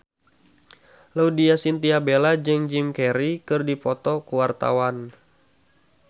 Laudya Chintya Bella jeung Jim Carey keur dipoto ku wartawan